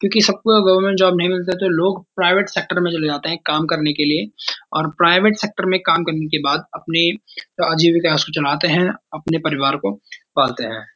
क्यूंकि सबको government job नहीं मिलती है तो लोग प्राइवेट सेक्टर में चले जाते हैं काम करने के लिए और प्राइवेट सेक्टर में काम करने के बाद अपने आजीविका उसको चलाते हैं अपने परिवार को पालते हैं।